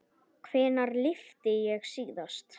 Hvenær lyfti ég síðast?